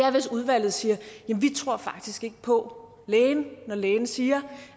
er hvis udvalget siger vi tror faktisk ikke på lægen når lægen siger